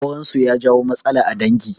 Aurensu ya jawo matsala a dangi